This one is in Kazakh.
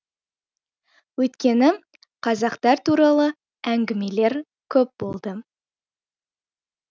өйткені қазақтар туралы әңгімелер көп болды